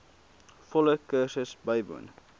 volle kursus bywoon